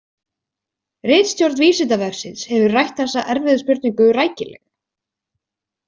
Ritstjórn Vísindavefsins hefur rætt þessa erfiðu spurningu rækilega.